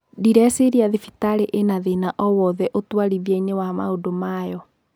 "Ndireciria thibitarĩ ĩna thina o wothe ũtwarithia-ini wa maũndu mayo.